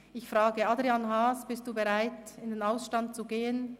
Ich frage Adrian Haas, sind Sie bereit, in den Ausstand zu gehen?